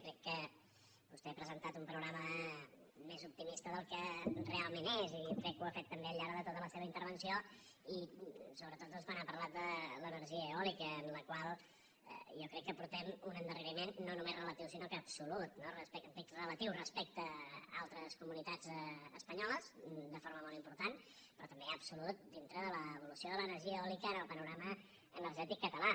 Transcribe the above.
jo crec que vostè ha presentat un panorama més optimista del que realment és i crec que ho ha fet també al llarg de tota la seva intervenció i sobretot doncs quan ha parlat de l’energia eòlica en la qual jo crec que portem un endarreriment no només relatiu sinó absolut no dic relatiu respecte d’altres comunitats espanyoles de forma molt important però també absolut dintre de l’evolució de l’energia eòlica en el panorama energètic català